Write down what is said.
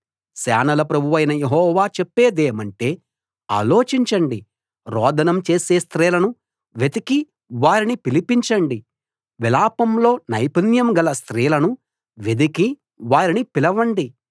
సేనల ప్రభువైన యెహోవా చెప్పేదేమంటే ఆలోచించండి రోదనం చేసే స్త్రీలను వెతికి వారిని పిలిపించండి విలాపంలో నైపుణ్యం గల స్త్రీలను వెదికి వారిని పిలవండి